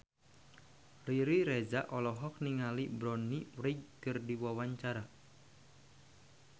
Riri Reza olohok ningali Bonnie Wright keur diwawancara